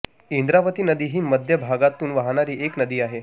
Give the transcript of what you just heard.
इंद्रावती नदी ही मध्य भारतातून वाहणारी एक नदी आहे